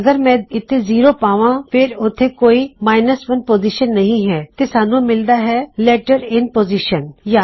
ਤੇ ਅਗਰ ਮੈਂ ਇਥੇ ਜ਼ੀਰੋ ਪਾਂਵਾ ਫੇਰ ਉਥੇ ਕੋਈ 1 ਪੋਜ਼ੀਸ਼ਨ ਨਹੀ ਹੈ ਤੋ ਸਾਨੂੰ ਮਿਲਦਾ ਹੈ ਲੈਟਰ ਇਨ ਪੋਜ਼ਿਸ਼ਨ